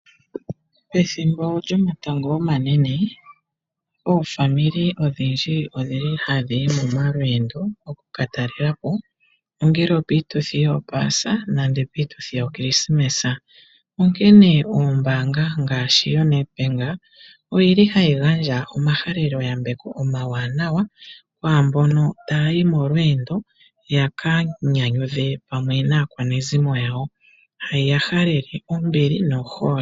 Pethimbo lyomatango omanene oofamili odhindji odhili hadhiyi momalweendo okukatalelapo ongele opiituthi yopaasa nenge yokrismas, onkene oombanga ngaashi yoNedbank oyili hayi gandja omahaleloyambeko omawanawa kwaamboka taya yi molweendo hayi ya halele ombili no hole.